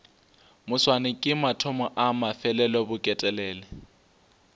moswane ke mathomo a mafelelobeketelele